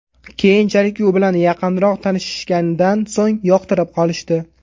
Keyinchalik u bilan yaqinroq tanishishganidan so‘ng yoqtirib qolishdi.